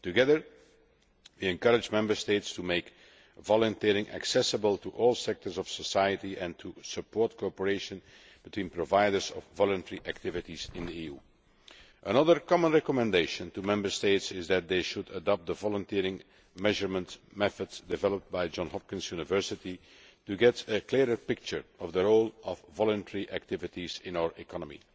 Together, we are encouraging Member States to make volunteering accessible to all sectors of society and to support cooperation between providers of voluntary activities in the EU. Another common recommendation to Member States is that they should adopt the volunteering measurement methods developed by Johns Hopkins University to get a clearer picture of the role of voluntary activities in our economy.